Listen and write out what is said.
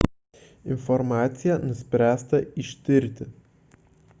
informaciją nuspręsta ištirti